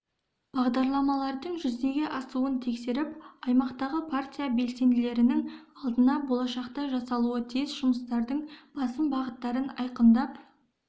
бағдарламалардың жүзеге асуын тексеріп аймақтағы партия белсенділерінің алдына болашақта жасалуы тиіс жұмыстардың басым бағыттарын айқындап